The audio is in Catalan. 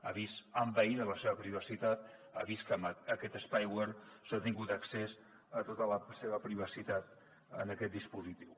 ha vist envaïda la seva privacitat ha vist que amb aquest spyware s’ha tingut accés a tota la seva privacitat en aquest dispositiu